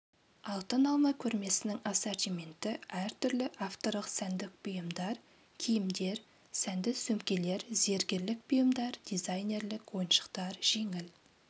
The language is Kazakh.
алтын алма көрмесінің ассортименті әртүрлі авторлық сәндік бұйымдар киімдер сәнді сөмкелер зергерлік бұйымдар дизайнерлік ойыншықтар жеңіл